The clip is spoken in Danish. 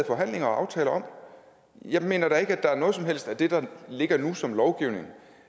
forhandlinger og aftaler om jeg mener da ikke at der er noget som helst af det der ligger nu som lovgivning